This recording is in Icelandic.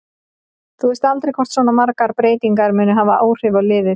Þú veist aldrei hvort svona margar breytingar munu hafa áhrif á liðið.